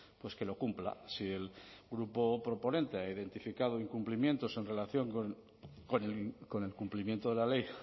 pues que lo cumpla si el grupo proponente ha identificado incumplimientos en relación con el cumplimiento de la ley